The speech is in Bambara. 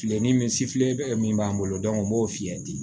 Filenin min bɛ min b'an bolo n b'o f'i ye ten